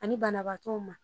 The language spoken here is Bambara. Ani banabaatɔw ma.